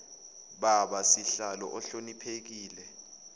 baba sihlalo ohloniphekile